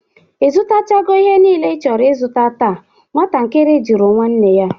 Ị zụtachago ihe nile ị chọrọ ịzụta taa? nwatakiri juru nwanne ya?